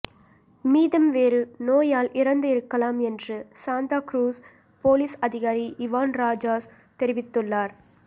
மீதம் வேறு நோயால் இறந்து இருக்கலாம் என்று சாந்தா குரூஸ் போலீஸ் அதிகாரி இவான் ராஜாஸ் தெரிவித்துள்ளார்